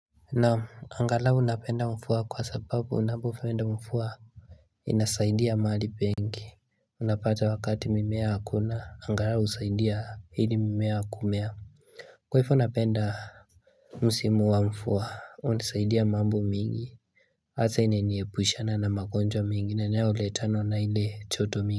Naam angalau napenda mvua kwa sababu unapopenda mvua inasaidia mahali pengi Unapata wakati mimea hakuna angalau husaidia ili mimea kumea Kwa hivyo napenda Msimu wa mvua unasaidia mambo mingi Hasa inaniepushana na magonjwa mengine yanayoletwa na ile joto mingi.